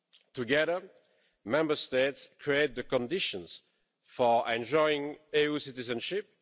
Together, Member States create the conditions for enjoying EU citizenship.